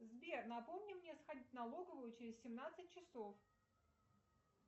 сбер напомни мне сходить в налоговую через семнадцать часов